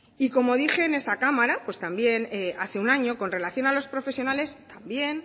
y como dije en esta cámara también hace un año con relación a los profesionales también